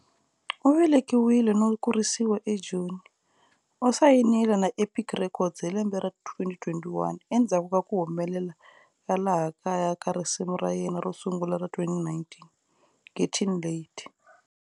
U velekiwile no kurisiwa eJoni, u sayinile na"Epic Records" hi lembe ra 2021 endzhaku ka ku humelela ka laha kaya ka risimu ra yena ro sungula ra 2019," Getting Late".